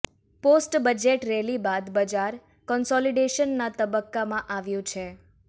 post budget rally બાદ બજાર કોન્સોલિડેશનના તબક્કામાં આવ્યું છે